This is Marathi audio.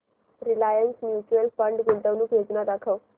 रिलायन्स म्यूचुअल फंड गुंतवणूक योजना दाखव